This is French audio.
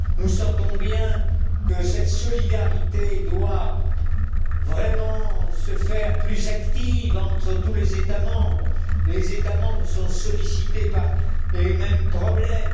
Nous sentons bien que cette solidarité doit vraiment devenir plus active entre tous les États membres. Les États membres sont sollicités par les mêmes problèmes.